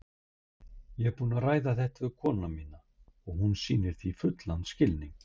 Ég er búinn að ræða þetta við konuna mína og hún sýnir þessu fullan skilning.